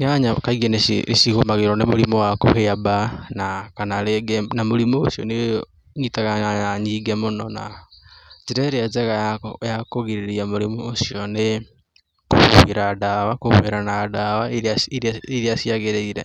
Nyanya nĩcigũmagĩrwo nĩ mũrimũ wa kũhĩa mbaa na kana rĩngĩ na mũrimũ ũcio nĩ ũnyitaga nyanya nyingĩ mũno na njĩra ĩrĩa ya kũgirĩrĩria mĩrimũ ũcio nĩ kũhuhĩra dawa, kũhũhĩra na dawa iria cia gĩrĩire